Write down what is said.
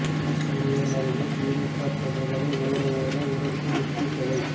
bus நிலையம் அருகே திமுக பிரமுகரை ஓட ஓட விரட்டி வெட்டிக் கொலை